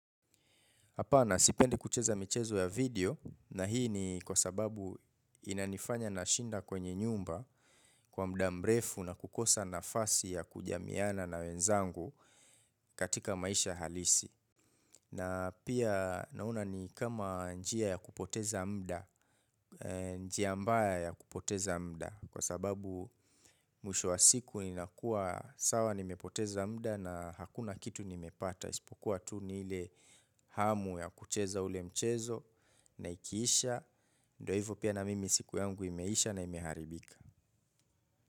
Hapana sipendi kucheza michezo ya video na hii ni kwa sababu inanifanya nashinda kwenye nyumba kwa muda mrefu na kukosa nafasi ya kujamiana na wenzangu katika maisha halisi. Na pia naona ni kama njia ya kupoteza muda, njia mbaya ya kupoteza muda kwa sababu mwisho wa siku ninakuwa sawa nimepoteza muda na hakuna kitu nimepata. Isipokuwa tu ni ile hamu ya kucheza ule mchezo na ikiisha ndo hivo pia na mimi siku yangu imeisha na imeharibika.